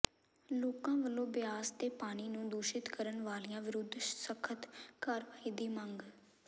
ਲੋਕਾਂ ਵਲੋਂ ਬਿਆਸ ਦੇ ਪਾਣੀ ਨੂੰ ਦੂਸ਼ਿਤ ਕਰਨ ਵਾਲਿਆਂ ਵਿਰੁੱਧ ਸਖ਼ਤ ਕਾਰਵਾਈ ਦੀ ਮੰਗ